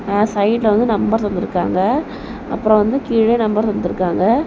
அ சைடுல வந்து நம்பர் தந்திருகாங்க அப்ரோ வந்து கீழ நம்பர் தந்திருகாங்க.